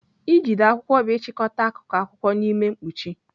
Ijide akwụkwọ bụ ịchịkọta akụkụ akwụkwọ n'ime mkpuchi.